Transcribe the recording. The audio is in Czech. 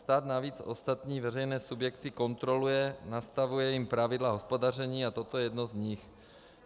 Stát navíc ostatní veřejné subjekty kontroluje, nastavuje jim pravidla hospodaření a toto je jedno z nich.